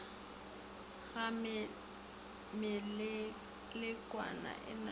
ga melekwana e na le